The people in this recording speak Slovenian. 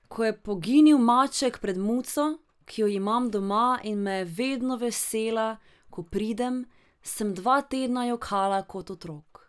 Ko je poginil maček pred muco, ki jo imam doma in me je vedno vesela, ko pridem, sem dva tedna jokala kot otrok.